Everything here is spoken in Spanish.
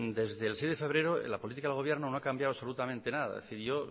desde el seis de febrero la política del gobierno no ha cambiado absolutamente nada es decir yo